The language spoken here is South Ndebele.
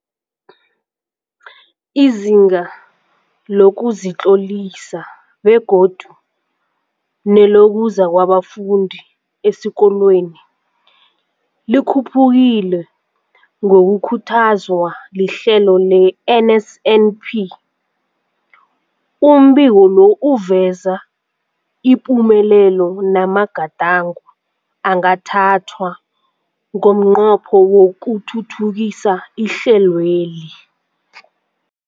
Izinga lokuzitlolisa begodu nelokuza kwabafundi esikolweni likhuphukile ngokukhuthazwa lihlelo le-NSNP. Umbiko lo uveza ipumelelo namagadango angathathwa ngomnqopho wokuthuthukisa ihlelweli.